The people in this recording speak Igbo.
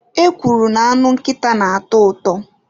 E kwuru na anụ nkịta na-atọ ụtọ.